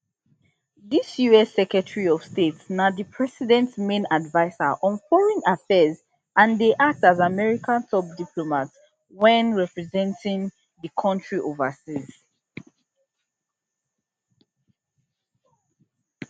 di us secretary of state na di president main adviser on foreign affairs and dey act as america top diplomat wen representing di country overseas